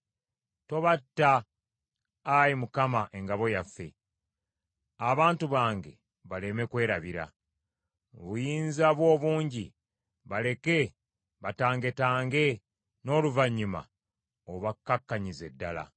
Tobatta, Ayi Mukama, engabo yaffe, abantu bange baleme kwerabira; mu buyinza bwo obungi, baleke batangetange; n’oluvannyuma obakkakkanyize ddala.